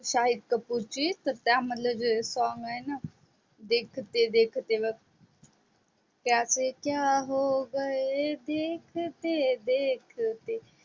शाहिद कपूर ची तर त्या मधल जे song आहे न देख तेरा क्या से क्या हो गये देखते देखते